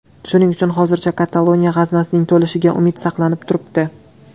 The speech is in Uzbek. Shuning uchun, hozircha Kataloniya g‘aznasining to‘lishiga umid saqlanib turibdi.